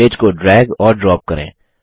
image को drag और drop करें